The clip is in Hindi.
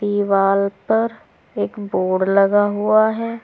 दीवाल पर एक बोर्ड लगा हुआ है।